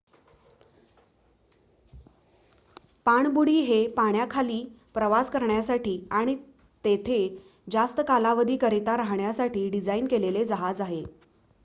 पाणबुडी हे पाण्याखाली प्रवास करण्यासाठी आणि तेथे जास्त कालावधीकरिता राहण्यासाठी डिझाईन केलेले जहाज आहे